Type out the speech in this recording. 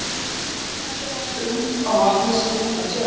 Á milli húsanna sér út á vatnið sem kallað er tjörn.